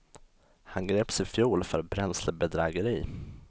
Han greps i fjol för bränslebedrägeri.